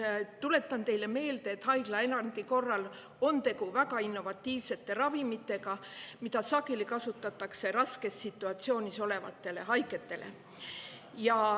Tuletan teile meelde, et haiglaerandi korral on tegu väga innovatiivsete ravimitega, mida sageli kasutatakse raskes situatsioonis olevatele haigetele.